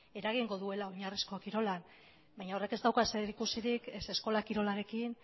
eragingo duela oinarrizko kirolean baina horrek ez du zerikusirik ez eskola kirolarekin